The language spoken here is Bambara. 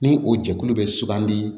Ni o jɛkulu bɛ sugandi